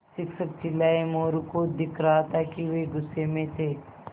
शिक्षक चिल्लाये मोरू को दिख रहा था कि वे गुस्से में थे